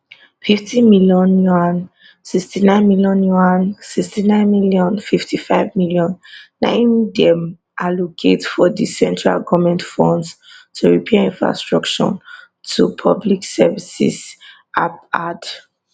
fifty million yuan sixty nine million yuan sixty nine million fifty five million na im dem allocate from di central goment funds to repair infrastructure and public services ap add